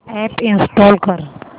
app install कर